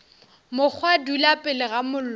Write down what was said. mokgwa dula pele ga mollo